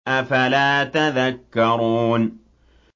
أَفَلَا تَذَكَّرُونَ